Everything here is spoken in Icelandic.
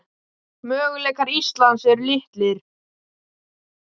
Möguleikar Íslands eru litlir